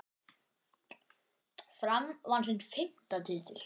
Fram vann sinn fimmta titil.